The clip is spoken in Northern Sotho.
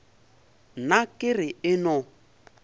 nna ke re e no